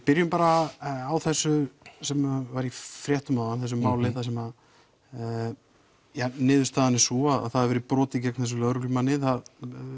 byrjum bara á þessu sem var í fréttum áðan þessu máli þar sem að niðurstaðan er sú að það hefur verið brotið gegn þessum lögreglumanni það